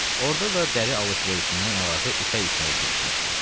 Orada da dəri alış-verişindən əlavə ipək işinə də girişmişdi.